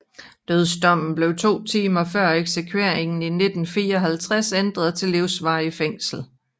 Dødsdommen blev to timer før eksekveringen i 1954 ændret til livsvarigt fængsel